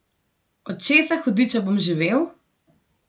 Od česa, hudiča bom živel?